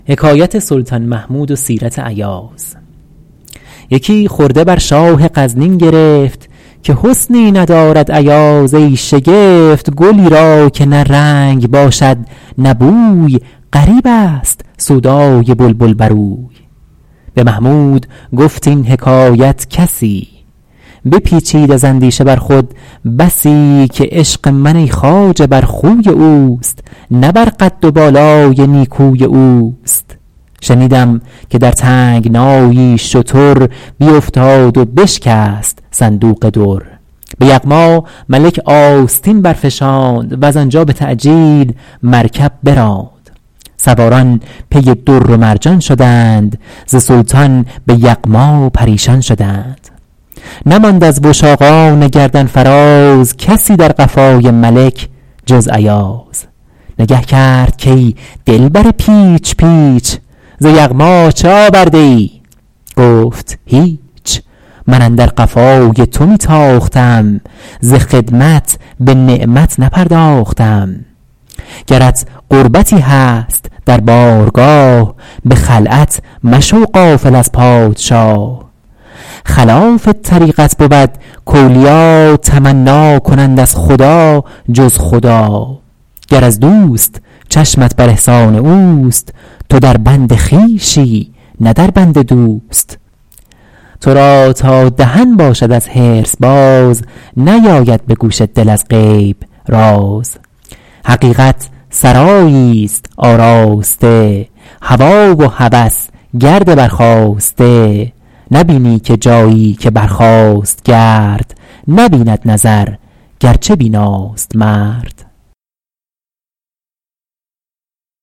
یکی خرده بر شاه غزنین گرفت که حسنی ندارد ایاز ای شگفت گلی را که نه رنگ باشد نه بوی غریب است سودای بلبل بر اوی به محمود گفت این حکایت کسی بپیچید از اندیشه بر خود بسی که عشق من ای خواجه بر خوی اوست نه بر قد و بالای نیکوی اوست شنیدم که در تنگنایی شتر بیفتاد و بشکست صندوق در به یغما ملک آستین برفشاند وز آنجا به تعجیل مرکب براند سواران پی در و مرجان شدند ز سلطان به یغما پریشان شدند نماند از وشاقان گردن فراز کسی در قفای ملک جز ایاز نگه کرد کای دلبر پیچ پیچ ز یغما چه آورده ای گفت هیچ من اندر قفای تو می تاختم ز خدمت به نعمت نپرداختم گرت قربتی هست در بارگاه به خلعت مشو غافل از پادشاه خلاف طریقت بود کاولیا تمنا کنند از خدا جز خدا گر از دوست چشمت بر احسان اوست تو در بند خویشی نه در بند دوست تو را تا دهن باشد از حرص باز نیاید به گوش دل از غیب راز حقیقت سرایی است آراسته هوی و هوس گرد برخاسته نبینی که جایی که برخاست گرد نبیند نظر گرچه بیناست مرد